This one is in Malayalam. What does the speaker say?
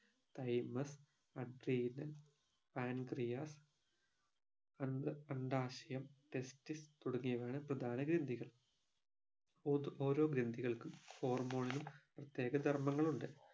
തൈമർ adrenal pancreas അണ്ഡ അണ്ഡാശയം testis തുടങ്ങിയവയാണ് പ്രധാന ഗ്രന്ഥികൾ ഒതോ ഓരോ ഗ്രന്ധികൾക്കും hormone ഉം പ്രത്യേക ധർമ്മങ്ങളുണ്ട്